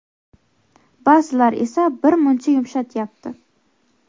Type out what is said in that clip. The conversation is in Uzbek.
Ba’zilar esa bir muncha yumshatyapti.